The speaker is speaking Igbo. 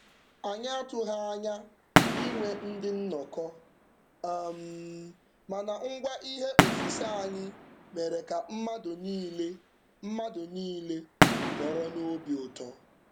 Anyị atụwaghị anya inwe ndị nnọkọ, um mana ngwa ihe osise anyị mere ka mmadụ niile mmadụ niile nọrọ n'obi ụtọ.